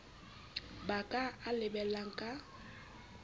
ba ka a lebellang ka